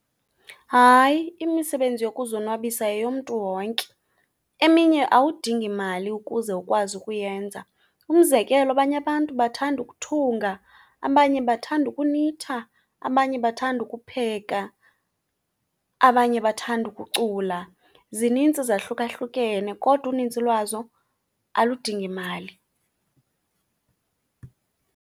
Hayi, imisebenzi yokuzonwabisa yeyomntu wonke. Eminye awudingi mali ukuze ukwazi ukuyenza. Umzekelo, abanye abantu bathanda ukuthunga, abanye bathanda ukunitha, abanye bathanda ukupheka, abanye bathanda ukucula. Zinintsi zahlukahlukene kodwa unintsi lwazo aludingi mali.